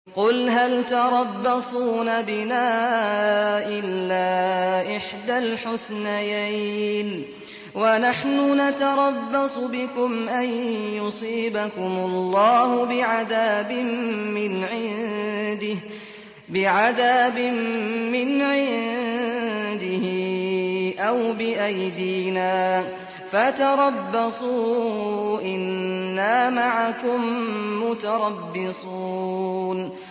قُلْ هَلْ تَرَبَّصُونَ بِنَا إِلَّا إِحْدَى الْحُسْنَيَيْنِ ۖ وَنَحْنُ نَتَرَبَّصُ بِكُمْ أَن يُصِيبَكُمُ اللَّهُ بِعَذَابٍ مِّنْ عِندِهِ أَوْ بِأَيْدِينَا ۖ فَتَرَبَّصُوا إِنَّا مَعَكُم مُّتَرَبِّصُونَ